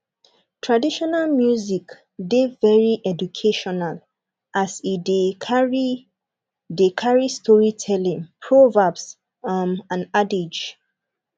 traditional music de very educational as e de carry de carry storytelling proverbs um and adage